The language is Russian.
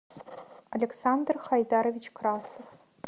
александр хайдарович красов